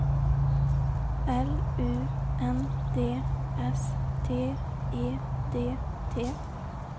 L U N D S T E D T